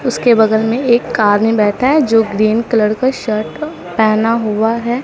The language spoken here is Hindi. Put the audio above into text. उसके बगल में एक कार में बैठा है जो ग्रीन कलर का शर्ट पहेना हुआ है।